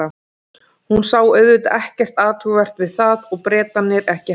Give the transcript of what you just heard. Hún sá auðvitað ekkert athugavert við það og Bretarnir ekki heldur.